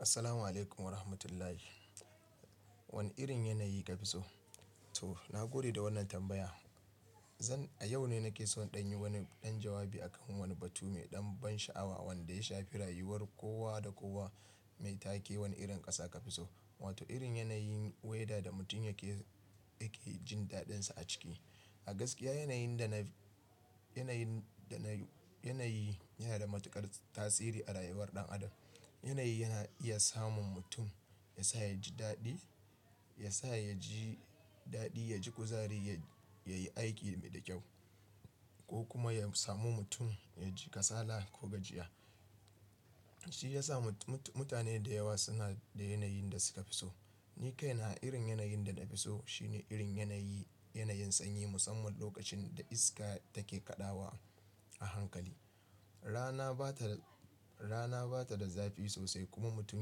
Assalamu alaikum wa rahamatullahi. Wane irin yanayi ka fi so? To, na gode da wannan tambaya. Zan, a yau ne nake so in ɗan yi wani ɗan jawabi akan wani batu mai ɗan ban sha'awa wanda ya shafi rayuwar kowa da kowa mai take. Wane irin ƙasa ka fi so? Wato irin yanayin weda da mutum yake, yake jin daɗinsa a ciki. A gaskiya yanayin da naf--, yanayin da nayu, yanayi yana da matuƙar tasiri a rayuwar ɗan adam. Yanayi yana iya samun mutum, ya sa ya ji daɗi, ya sa ya ji daɗi, ya ji kuzari, ya, ya yi aiki da kyau ko kuma yam samu mutum ya ji kasala ko gajiya. Shi ya sa mut, mut, mutane da yawa suna da yanayin da suka fi so. Ni kaina irin yanayin da na fi so shine irin yanayi, yanayin sanyi musamman lokacin da iska take kaɗawa a hankali. Rana ba ta da--, rana ba ta da zafi sosai kuma mutum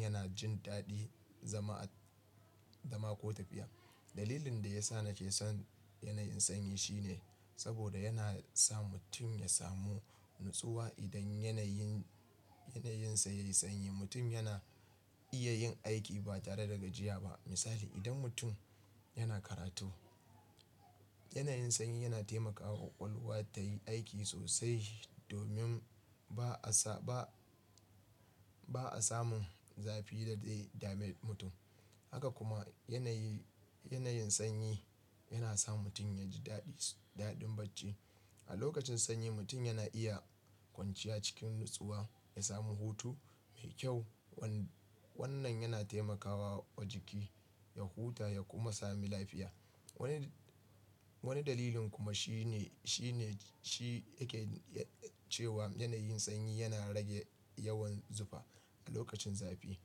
yana jin daɗin zama a, zama ko tafiya. Dalilin da ya sa nake son yanayin sanyi shine saboda yana sa mutum ya samu natsuwa. Idan yanayin, yanayinsa yayi sanyi, mutum yana iya yin aiki ba tare da gajiya ba. Misali, idan mutum yana karatu, yanayin sanyi yana taimakawa ƙwaƙwalwa ta yi aiki sosai domin ba a sa, ba, ba a samun zafi da zai dame mutum. Haka kuma yanayi, yanayin sanyi yana sa mutum ya ji daɗi, daɗin bacci. A lokacin sanyi mutum yana iya kwanciya cikin natsuwa, ya samu hutu mai kyau. Wannan yana taimakawa wa jiki ya huta ya kuma sami lafiya. Wanid--, wani dalilin kuma shine, shine, shi yaken yae-- cewa yanayin sanyi yana rage yawan zufa. A lokacin zafi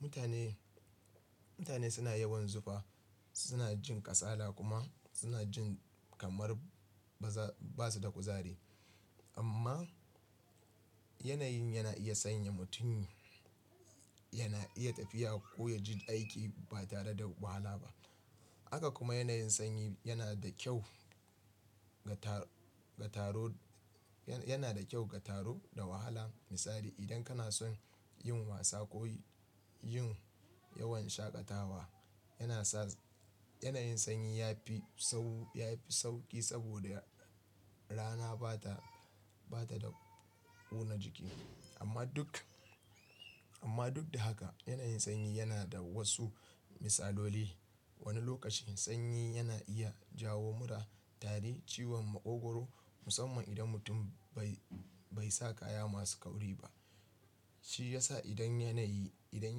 mutane, mutane suna yawan zufa, suna jin kasala kuma suna jin kamar ba za, ba su da kuzari. Amma yanayin yana iya sanya mutum, yana iya tafiya ko ya ji aiki ba tare da wahala ba. Haka kuma yanayin sanyi yana da kyau ga taro, ga taro, yana da kyau ga taro da wahala. Misali, idan kana son yin wasa ko y-- yin yawan shaƙatawa, yana sa yanayin sanyi yafi sau, yafi sauƙi saboda rana ba ta, ba ta da ƙona jiki. Amma duk, amma duk da haka yanayin sanyi yana da wasu misaloli. Wani lokacin sanyi yana iya jawo mura, tari, ciwon maƙogoro musamman idan mutum bai, bai sa kaya masu kauri ba. Shi ya sa idan yanayi, idan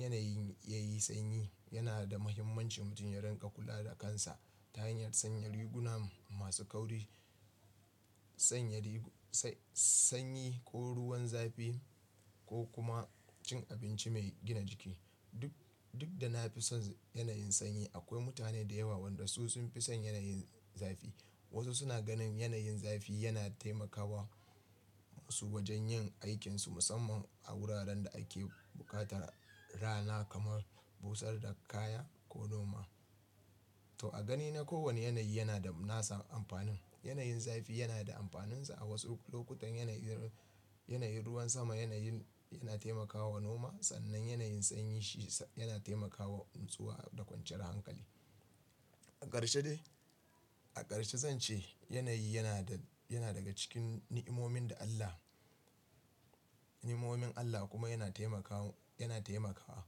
yanayin yayi sanyi yana da muhimmanci mutum ya riƙa kula da kansa ta hanyar sanya riguna masu kauri, sanya rigu-- sai-- sanyi ko ruwan zafi ko kuma cin abinci mai gina jiki. Duk, duk da na fi son yanayin sanyi, akwai mutane da yawa waɗanda su sun fi son yanayin zafi. Wasu suna ganin yanayin zafi yana taimakawa su wajen yin aikinsu musamman a wuraren da ake buƙatar rana kamar busar da kaya ko noma. To a ganina kowane yanayi yana da nasa amfanin. Yanayin zafi yana da amfaninsa. A wasu lokutan yanayin, yanayin ruwan sama, yanayin yana taimakawa noma. Sannan yanayin sanyi shi sa-- yana taimakawa natsuwa da kwanciyar hankali. A ƙarshe dai, a ƙarshe zan ce yanayi yana da, yana daga cikin ni'imomin da Allah, ni'imomin Allah kuma yana taimakawa, yana taimakawa.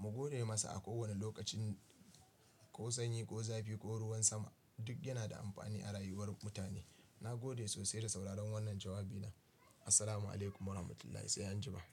Mu gode masa a kowane lokacin ko sanyi, ko zafi, ko ruwan sama duk yana da amfani a rayuwar mutane. Na gode sosai da sauraron wannan jawabina. Assalamu alaikum wa rahmatullahi sai anjima.